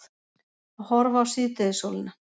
Að horfa á síðdegissólina.